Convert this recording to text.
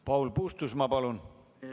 Paul Puustusmaa, palun!